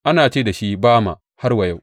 Ana ce da shi Bama har wa yau.